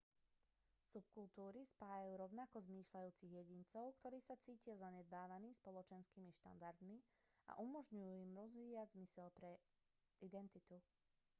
subkultúry spájajú rovnako zmýšľajúcich jedincov ktorí sa cítia zanedbávaní spoločenskými štandardmi a umožňujú im rozvíjať zmysel pre identitu